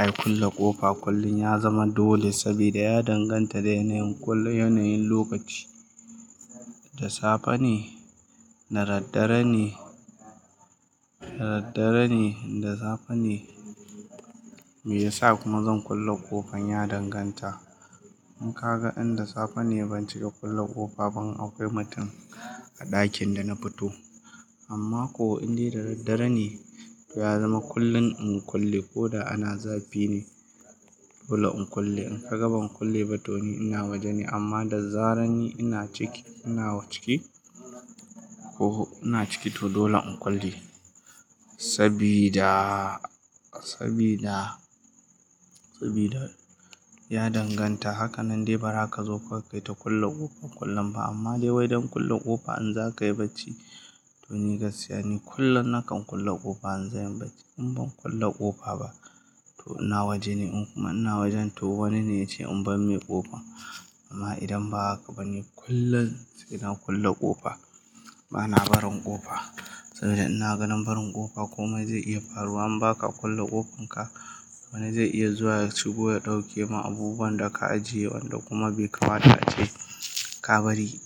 Ai kulle ƙofa kullum ya zama dole saboda ya danganta da yanayin, yanayin lokaci. Da safe ne, da raddare ne, da raddare ne da safe ne. Me yasa kuma zan kulle ƙofan ya danganta. In ka ga inda safe ne ban cika kulle ƙofa ba in akwai mutum a ɗakin da na fito. Amma ko indai da raddare ne, to ya zama kullum in kulle ko da ana zafi ne, dole in kulle. In ka ga ban kulle ba to ni ina waje ne amma da zarar ni ina ciki, ina ciki ko ina ciki to dole in kulle. Saboda, saboda, saboda ya danganta. Haka nan dai bara ka zo kawai ka yita kulle ƙofar ƙullun ba amma dai wai don kulle ƙofa in za ka yi bacci. To ni gaskiya ni kullum nakan kulle ƙofa an za ni bacci. In ban kulle ƙofa ba to ina waje ne in kuma ina waje to wani ne ya ce in bar mai ƙofa. Amma idan ba haka bane kullum sai na kulle ƙofa. Bana barin ƙofa saboda ina ganin barin ƙofa komai zai iya faruwa. In baka kulle ƙofanka, wani zai iya zuwa ya shigo ya ɗauke ma abubuwan da ka ajiye wanda kuma bai kamata ace ka bari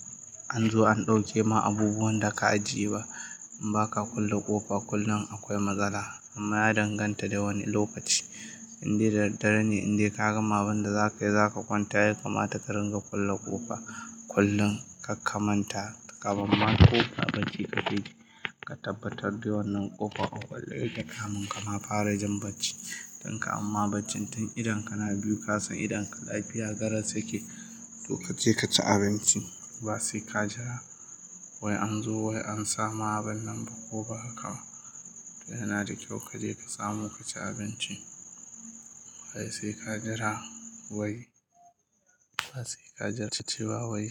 an zo an ɗauke ma abubuwan da ka ajiye ba. In baka kulle ƙofa kullum akwai matsala amma ya danganta da wane lokaci. Indai da daddare ne, indai ka gama abunda zaka yi, zaka kwanta, ya kamata ka dinga kulle ƙofa kullum. Kar ka manta kafun ma ƙo ba bacci ka keji. Ka tabbatar dai wannan ƙofar a ƙule yake kamun ka ma fara jin bacci. Don kuman ma bacci tun idon ka na biyu kasan idon ka lafiya garau yake, to ka je ka ci abinci. Ba sai ka jira wai an zo wai an samu abin nan ba ko ba haka ba. To yana da kyau ka je ka samu ka ci abinci. Ai sai ka jira wai, ba sai ka jira tashi ba wai.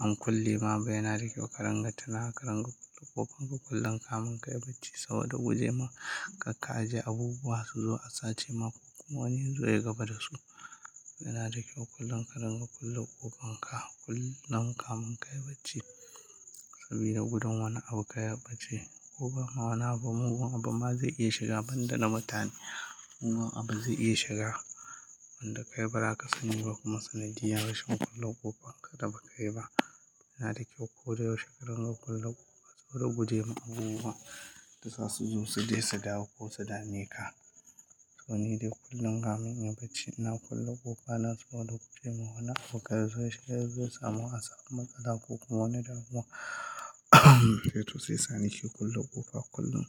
An kulle ma, bai nari kyau ka ringa tuna, ka ringa kulle ƙofanka kullum kamun ka yi bacci saboda buje ma ka kaje abubuwa su zo a sace ma. Ko kuma wani yazo yayi gaba dasu yana da kyau kullum ka ringa kulle ƙofanka kullum kamun ka yi bacci sabida gudun wani abu kar ya bace. Ko ba ma wana abu mun abu ma zai iya shiga banda na mutane. Kuma abu zai iya shiga wanda ka yi bara ka sani ba kuma sanadiyar rashin kulle ƙofan ka da ba ka yi ba. Yana da kyau ko da yaushe ka ringa kulle ƙofa saboda guje ma abubuwa da za su zo su dai su dawo ko su dame ka. To ni dai kullum kamun ina bacci ina kulle ƙofa na so da buje ma wana abu kar zai shiga yazo ya samu a sama. Matsala ko kuma wani damuwa zai tusi sani shi kullum ƙofa kullum.